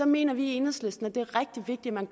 mener vi i enhedslisten at det er rigtig vigtigt man